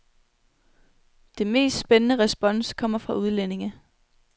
Det mest spændende respons kommer fra udlændinge.